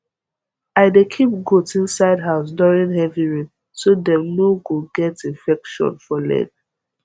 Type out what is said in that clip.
i dey keep goat inside house during heavy rain so dem no go get infection for leg